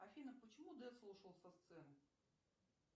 афина почему децл ушел со сцены